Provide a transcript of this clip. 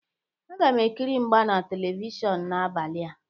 Aga m ekiri mgba na Televishọnụ n'abalị a.